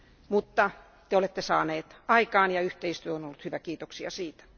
Mutta te olette saaneet aikaan ja yhteistyö on ollut hyvä, kiitoksia siitä.